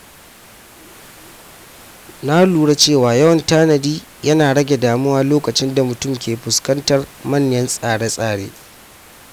Na lura cewa yawan tanadi yana rage damuwa lokacin da mutum ke fuskantar manyan tsare-tsare.